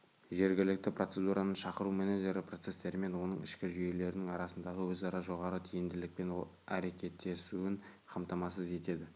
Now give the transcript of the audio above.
жергілікті процедураны шақыру менеджері процестермен оның ішкі жүйелерінің арасындағы өзара жоғары тиімділікпен әрекеттесуін қамтамасыз етеді